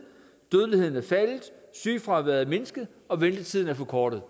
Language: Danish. dødeligheden er faldet sygefraværet er mindsket og ventetiden er forkortet